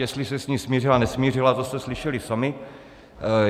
Jestli se s ní smířila, nesmířila, to jste slyšeli sami.